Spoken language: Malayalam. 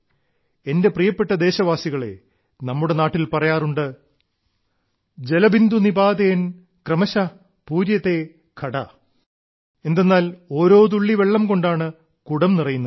എന്റെ പ്രിയപ്പെട്ട ദേശവാസികളേ നമ്മുടെ നാട്ടിൽ പറയാറുണ്ട് ജലബിന്ദു നിപാതേൻ ക്രമശ പൂര്യതേ ഘട എന്തെന്നാൽ ഓരോ തുള്ളി കൊണ്ടാണ് കുടം നിറയുന്നത്